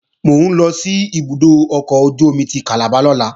Mò ń lọ sí ibùdó ọkọ̀ ojú-omi ti Calabar lọ́la